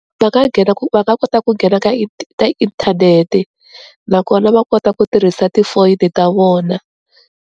Va nga nghena ku va nga kota ku nghena ka ka inthanete nakona va kota ku tirhisa tifoyini ta vona.